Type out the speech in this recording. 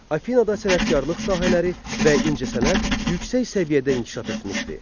Afinada sənətkarlıq sahələri və incəsənət yüksək səviyyədə inkişaf etmişdi.